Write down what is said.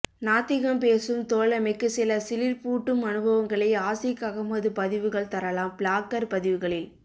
நாத்திகம் பேசும் தோழமைக்கு சில சிலிர்ப்பூட்டும் அனுபவங்களை ஆசிக் அஹமது பதிவுகள் தரலாம் ப்ளாக்கர் பதிவுகளில்